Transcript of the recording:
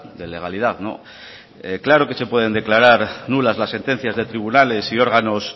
de legalidad claro que se pueden declarar nulas las sentencias de tribunales y órganos